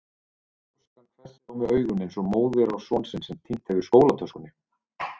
ljóskan hvessir á mig augun eins og móðir á son sinn sem týnt hefur skólatöskunni.